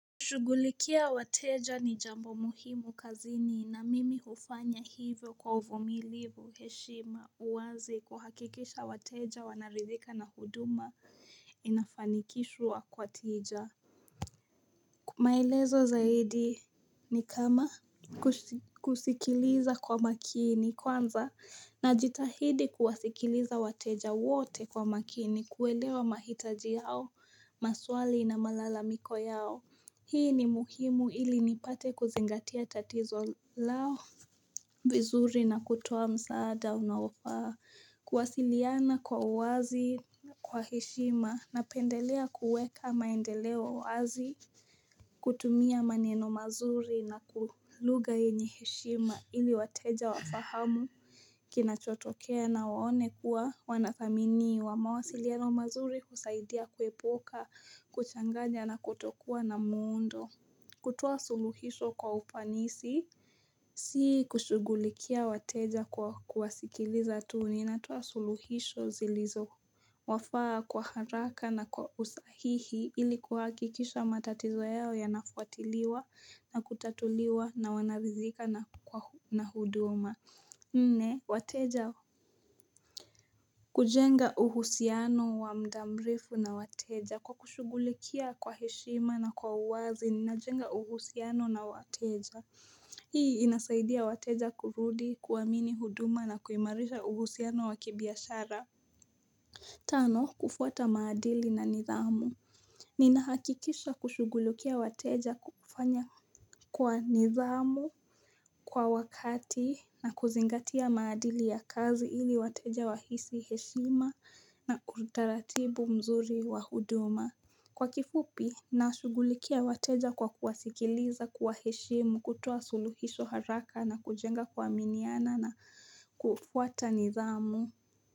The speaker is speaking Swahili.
Kushughulikia wateja ni jambo muhimu kazini na mimi hufanya hivyo kwa uvumilivu heshima uwazi kuhakikisha wateja wanaridhika na huduma inafanikishwa kwa tija. Kwa maelezo zaidi ni kama kusikiliza kwa makini kwanza najitahidi kuwasikiliza wateja wote kwa makini kuelewa mahitaji yao, maswali na malalamiko yao. Hii ni muhimu ili nipate kuzingatia tatizo lao. Vizuri na kutua msaada unaofaa kuwasiliana kwa uwazi kwa heshima napendelea kuweka maendeleo wazi kutumia maneno mazuri na ku lugha yenye heshima ili wateja wafahamu kinachotokea na waone kuwa wanathaminiwa mawasiliano mazuri husaidia kuepuka kuchanganya na kutokuwa na muundo kutoa suluhisho kwa ufanisi Si kushughulikia wateja kwa kuwasikiliza tu ninatoa suluhisho zilizowafaa kwa haraka na kwa usahihi ili kuhakikisha matatizo yao yanafuatiliwa na kutatuliwa na wanaridhika na huduma Nne wateja kujenga uhusiano wa muda mrefu na wateja kwa kushughulikia kwa heshima na kwa uwazi ninajenga uhusiano na wateja Hii inasaidia wateja kurudi kuamini huduma na kuimarisha uhusiano wa kibiashara Tano, kufuata maadili na nidhamu Ninahakikisha kushughulikia wateja kufanya kwa nidhamu kwa wakati na kuzingatia maadili ya kazi ili wateja wahisi heshima na kwa utaratibu mzuri wa huduma Kwa kifupi, nashughulikia wateja kwa kuwasikiliza, kuwaheshemu, kutoa suluhisho haraka na kujenga kuaminiana na kufuata nidhamu.